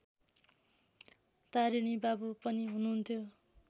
तारिणीबाबु पनि हुनुहुन्थ्यो